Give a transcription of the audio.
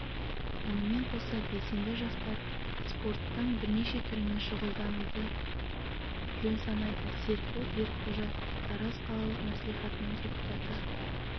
мұнымен қоса белсенді жастар спорттың бірнеше түрімен шұғылдануды жөн санайды серікбол берікқожа тараз қалалық мәслихатының депутаты